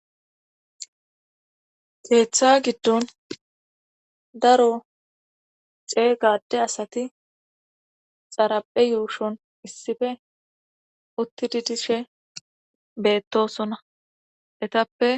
Geeththa giddon daro xeegade asati xaraphe yuushon issife utti didishe beettosona etappe.